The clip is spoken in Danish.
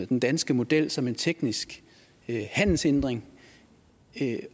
den danske model som en teknisk handelshindring